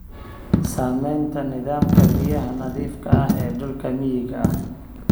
Saamaynta nidaamka biyaha nadiifka ah ee dhulka miyiga ah.